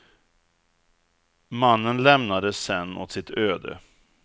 Mannen lämnades sedan åt sitt öde.